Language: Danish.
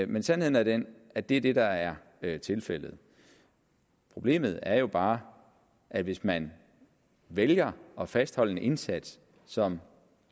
men sandheden er den at det er det der er er tilfældet problemet er jo bare at hvis man vælger at fastholde en indsats som